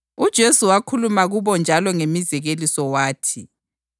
UJesu wakhuluma kubo njalo ngemizekeliso wathi: